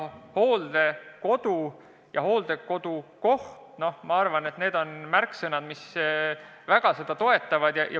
Hooldekodu ja hooldekodukoht – ma arvan, et need on märksõnad, mis seda toetavad.